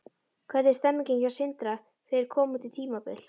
Hvernig er stemningin hjá Sindra fyrir komandi tímabil?